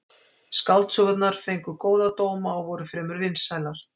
Skáldsögurnar fengu góða dóma og voru fremur vinsælar.